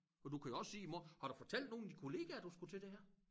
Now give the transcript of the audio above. For du kan jo også sige i morgen har du fortalt nogen af dine kollegaer du skulle til det her?